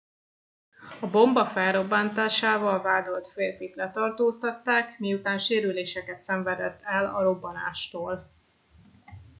a bomba felrobbantásával vádolt férfit letartóztatták miután sérüléseket szenvedett el a robbanástól